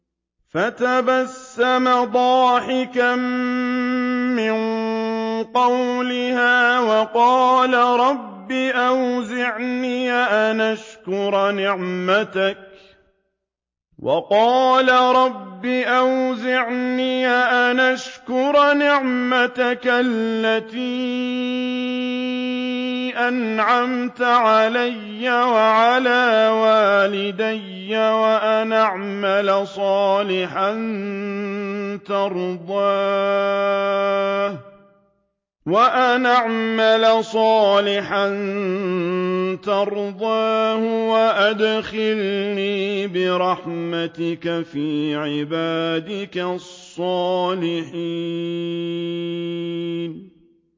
فَتَبَسَّمَ ضَاحِكًا مِّن قَوْلِهَا وَقَالَ رَبِّ أَوْزِعْنِي أَنْ أَشْكُرَ نِعْمَتَكَ الَّتِي أَنْعَمْتَ عَلَيَّ وَعَلَىٰ وَالِدَيَّ وَأَنْ أَعْمَلَ صَالِحًا تَرْضَاهُ وَأَدْخِلْنِي بِرَحْمَتِكَ فِي عِبَادِكَ الصَّالِحِينَ